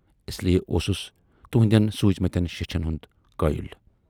اسلئے اوسُس تُہٕندٮ۪ن سوٗزۍمٕتٮ۪ن شیچھن ہُند قٲیِل۔